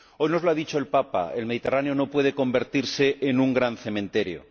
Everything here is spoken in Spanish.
Hoy nos lo ha dicho el Papa el Mediterráneo no puede convertirse en un gran cementerio.